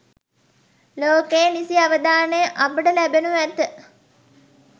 ලෝකයේ නිසි අවධානය අපට ලැබෙනු ඇත.